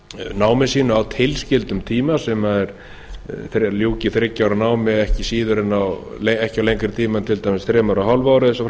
námi sínu á tilskildum tíma ljúki þriggja ár námi ekki á lengri tíma en til dæmis þremur og hálfu ári og svo